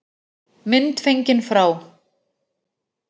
Mynd fengin frá